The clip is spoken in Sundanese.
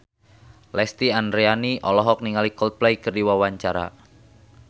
Lesti Andryani olohok ningali Coldplay keur diwawancara